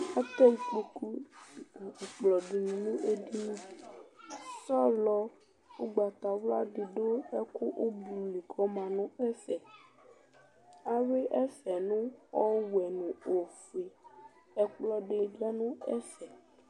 Atɛ ikpoku nʋ ɛkplɔ dɩnɩ nʋ edini Sɔlɔ ʋgbatawla dɩ dʋ ɛkʋ ʋblʋ li kʋ ɔma nʋ ɛfɛ Ayʋɩ ɛfɛ nʋ ɔwɛ nʋ ofue Ɛkplɔ dɩ lɛ nʋ ɛfɛ